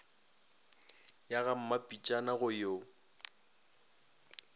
ya ga mmapitšana go yo